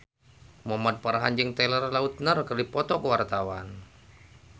Muhamad Farhan jeung Taylor Lautner keur dipoto ku wartawan